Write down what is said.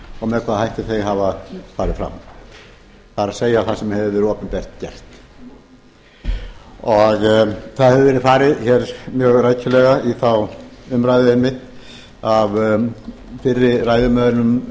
með hvaða hætti þau hafa farið fram það er það sem hefur verið opinbert gert það hefur verið farið hér mjög rækilega í þá umræðu einmitt af fyrri ræðumönnum